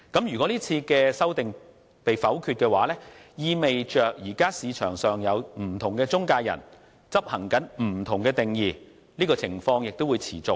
如果這次就條文的修訂被否決，即意味現時市場上不同中介人使用不同定義的情況會持續。